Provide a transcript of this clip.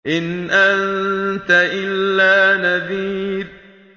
إِنْ أَنتَ إِلَّا نَذِيرٌ